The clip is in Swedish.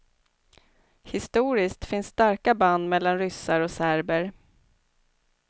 Historiskt finns starka band mellan ryssar och serber.